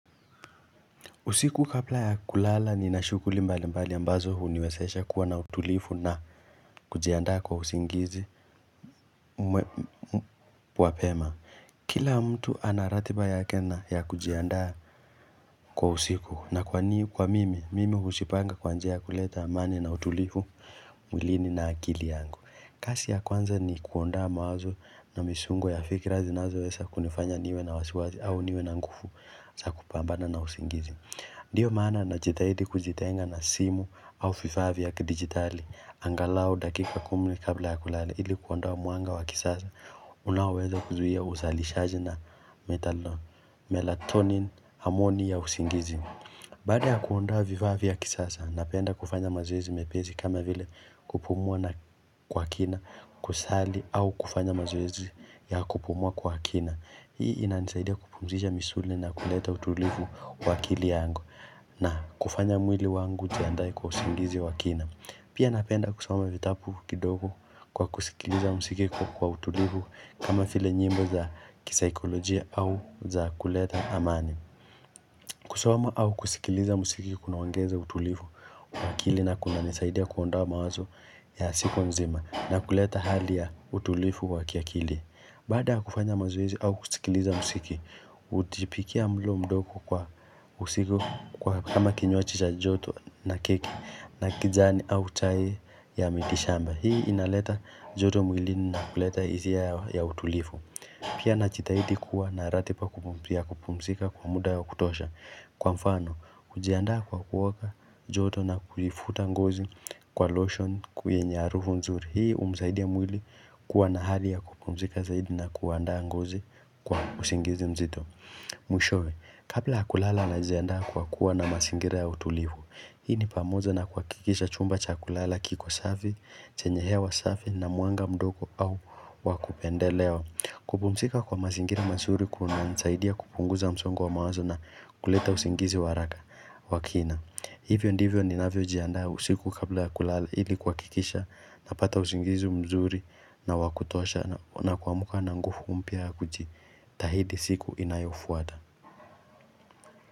Usiku kabla ya kulala nina shughuli mbali mbali ambazo huniwezesha kuwa na utulivu na kujiandaa kwa usingizi mapema. Kila mtu ana ratiba yake na ya kujiandaa kwa usiku na kwa niu kwa mimi, mimi hujipanga kwa njia ya kuleta amani na utulifu mwilini na akili yangu. Kazi ya kwanza ni kuondoa mawazo na misungo ya fikira zinazoweza kunifanya niwe na wasiwasi au niwe na nguvu za kupambana na usingizi. Ndiyo maana najitahidi kujitenga na simu au vifaa vya kidigitali, angalau dakika kumi kabla ya kulala, ili kuondoa muanga wa gizani, unaoweza kuzuia uzalishaji na metalon, melatonin, harmony ya usingizi. Baada ya kuondoa vifaa vya kisasa, napenda kufanya mazoezi mepesi kama vile kupumwa na kwa kina kusali au kufanya mazoezi ya kupumwa kwa kina. Hii inanisaidia kupumzisha misuli na kuleta utulivu kwa akili yangu na kufanya mwili wangu ujiandae kwa usingizi wa kina. Pia napenda kusoma vitabu kidogo kwa kusikiliza mziki kwa utulivu kama vile nyimbo za kisaikolojia au za kuleta amani. Kusoma au kusikiliza muziki kuna ongeza utulivu kwa akili na kuna nisaidia kuondoa mawazo ya siku nzima na kuleta hali ya utulivu wa ki akili. Baada kufanya mazoezi au kusikiliza muziki, hujipikia mlo mdogo kwa usiku kwa kama kinywaji cha joto na keki na kijani au chai ya mitishamba. Hii inaleta joto mwilini na kuleta hisia ya utulivu. Pia najitahidi kuwa na ratiba ya kupumzika kwa muda ya kutosha. Kwa mfano, kujiandaa kwa kuoga, joto na kuifuta ngozi kwa lotion ku yenye harufu nzuri. Hii humsaidia mwili kuwa na hali ya kupumzika zaidi na kuandaa ngozi kwa usingizi mzito. Mwishowe, kabla ya kulala na najiandaa kwa kuwa na mazingira ya utulivu. Hii ni pamoja na kuhakikisha chumba cha kulala kiko safi, chenye hewa safi na mwanga mdogo au wakupendelewa. Kupumzika kwa mazingira mazuri kunanisaidia kupunguza msongu wa mawazo na kuleta usingizi wa haraka r wa kina. Hivyo ndivyo ninavyo iandaa usiku kabla ya kulala ili kuhakikisha na pata usingizi mzuri na wakutosha na kuamka na nguvu mpya ya kujitahidi siku inayofuata.